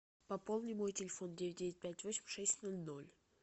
пополни мой телефон девять девять пять восемь шесть ноль ноль